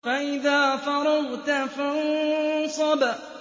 فَإِذَا فَرَغْتَ فَانصَبْ